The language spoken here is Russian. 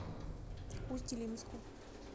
усть илимску